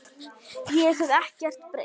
Ég hef ekkert breyst!